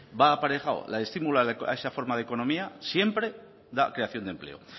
va aparejado el estímulo a esa forma de economía siempre da creación de empleo